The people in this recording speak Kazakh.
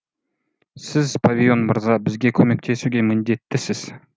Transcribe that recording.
сіз павийон мырза бізге көмектесуге міндеттісіз